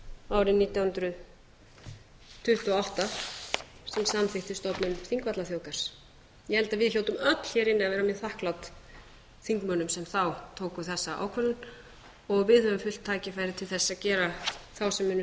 árið nítján hundruð tuttugu og átta sem samþykkti stofnun þingvallaþjóðgarðs ég held að við hljótum öll hér inni að vera mjög þakklát þeim þingmönnum sem þá tóku þessa ákvörðun og við höfum full tækifæri til að gera þá sem að henni